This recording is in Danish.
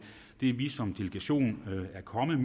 det vi som delegation er kommet